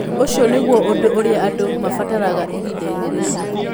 Ũcio nĩguo ũndũ ũrĩa andũ maabataraga ihinda-inĩ rĩu.'